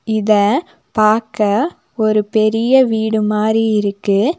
இத பாக்க ஒரு பெரிய வீடு மாரி இருக்கு.